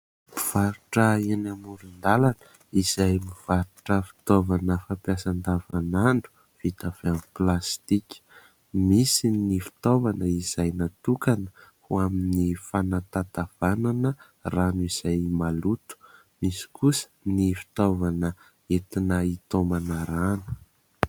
Mpivarotra eny amorondalana izay mivarotra fitaovana fampiasa andavanandro vita avy amin 'ny plastika. Misy ny fitaovana izay natokana ho an'ny fitatavanana rano izay maloto. Misy kosa ny fitaovana izay entina hitaomana rano.